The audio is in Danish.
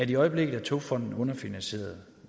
i øjeblikket er togfonden dk underfinansieret